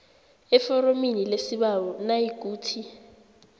eforomini lesibawo nayikuthi